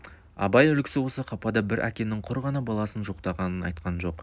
абай үлгісі осы қапада бір әкенің құр ғана баласын жоқтағанын айтқан жоқ